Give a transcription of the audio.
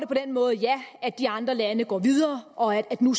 på den måde at ja de andre lande går videre og at der nu